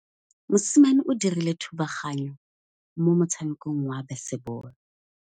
Mosimane o dirile thubaganyô mo motshamekong wa basebôlô.